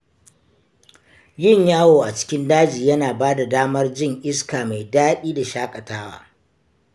Yin yawo a cikin daji yana ba da damar jin iska mai daɗi da shaƙatawa.